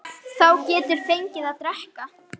Þá geturðu fengið að drekka.